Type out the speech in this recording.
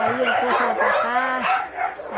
Aí ele trouxe ela para cá.